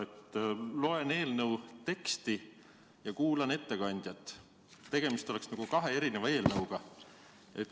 Ma loen eelnõu teksti ja kuulan ettekandjat – tegemist oleks nagu kahe erineva eelnõuga.